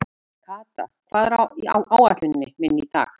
Kata, hvað er á áætluninni minni í dag?